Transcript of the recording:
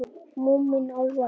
Þorði varla að anda.